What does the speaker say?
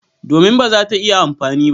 Domin ba za ta iya amfani ba.